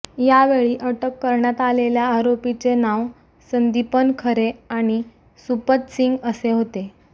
यावेळी अटक करण्यात आलेल्या आरोपीचे नाव संदीपन खरे आणि सूपतसिंग असे होते